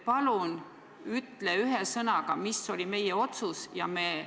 Palun ütle ühe sõnaga, mis oli meie otsus!